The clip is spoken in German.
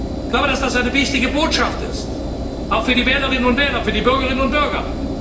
Ich glaube, dass das eine wichtige Botschaft ist, auch für die Wählerinnen und Wähler, für die Bürgerinnen und Bürger.